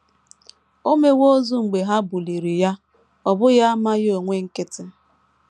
“ O mewo ozu mgbe ha buliri ya, ” ọ bụghị amaghị onwe nkịtị.